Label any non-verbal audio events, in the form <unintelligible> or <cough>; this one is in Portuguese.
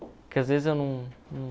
Porque às vezes eu <unintelligible>